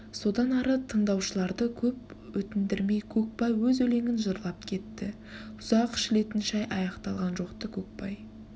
содан ары тындаушыларды көп өтіндірмей көкбай өз өлеңін жырлап кетті үзақ ішілетін шай аяқталған жоқ-ты көкбай